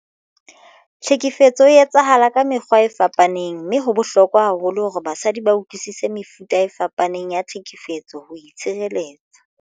Tlhekefetso e etsahala ka mekgwa e fapaneng mme ho bohlokwa haholo hore basadi ba utlwisise mefuta e fapaneng ya tlhekefetso ho itshireletsa.